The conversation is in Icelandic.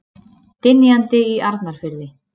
Dynjandi í Arnarfirði.